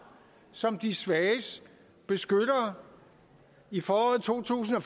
som de svages beskyttere i foråret to tusind og